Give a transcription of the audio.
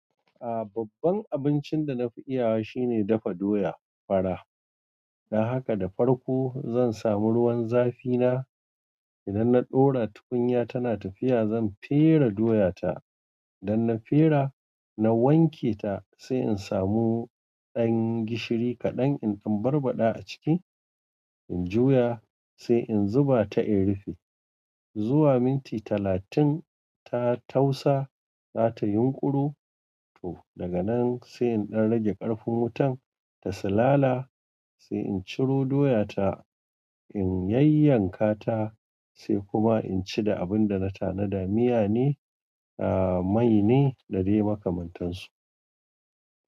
A'a babban abincin da na fi iyawa shine dafa doya fara. Dan haka da farko zan samu ruwan zafi na, idan na ɗora tukunya tana tafiya zan fere doya ta. Idan na fera na wanke ta sai in samu ɗan gishiri kaɗan in dan barbada a ciki in juya sai in zuba ta in rufe. Zuwa minti talatin ta tausa za ta yin ƙuru. To daga nan sai in dan rage karfin wutar ta silala sai in ciro doyata sai in yayyanka ta. Sai kuma in ci da abun da na tanada. Miya ne, a'a mai ne da dai makamantansu.